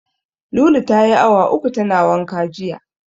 Lulu tayi awa uku tana wanka jiya.